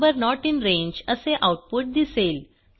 number not in range असे output दिसेल